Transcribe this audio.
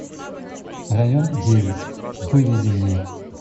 район девять выведи мне